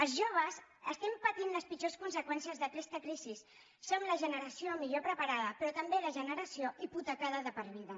els joves estem patint les pitjors conseqüències d’aquesta crisi som la generació millor preparada però també la generació hipotecada de per vida